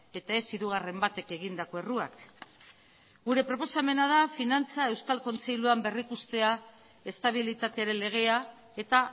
eta ez hirugarren batek egindako erruak gure proposamena da finantza euskal kontseiluan berrikustea estabilitatearen legea eta